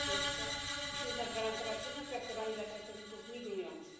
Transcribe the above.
Po pierwsze, musimy zagwarantować równe traktowanie dla pracowników migrujących.